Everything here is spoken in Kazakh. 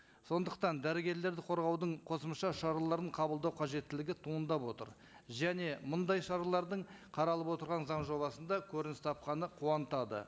сондықтан дәрігерлерді қорғаудың қосымша шараларын қабылдау қажеттілігі туындап отыр және мындай шаралардың қаралып отырған заң жобасында көрініс тапқаны қуантады